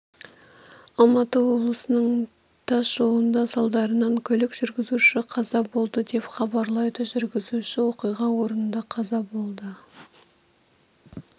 алматы облысының тас жолында салдарынан көлік жүргізушісі қаза болды деп хабарлайды жүргізуші оқиға орнында қаза болды